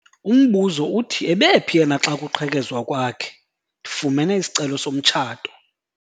Umbuzo uthi ebephi yena xa kuqhekezwa kwakhe? ndifumene isicelo somtshato